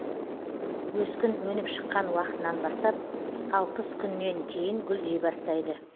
өскін өніп шыққан уақытынан бастап алпыс күннен кейін гүлдей бастайды